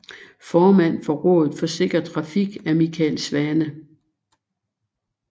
Formand for Rådet for Sikker Trafik er Michael Svane